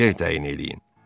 yer təyin eləyin.